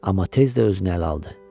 Amma tez də özünü ələ aldı.